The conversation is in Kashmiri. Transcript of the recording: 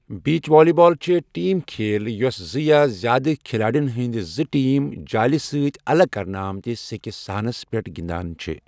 بیٖچ والی بال چھ ٹیٖم کھیل یُس زٕ یا زیادٕ کِھلاڑٮ۪ن ہٕنٛدۍ زٕ ٹیٖم جالہِ سۭتۍ الگ کرنہٕ آمتِس سیٚکہِ صحنس پٮ۪ٹھ گنٛدان چھ۔